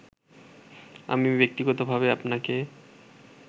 আমি ব্যক্তিগতভাবে আপনাকে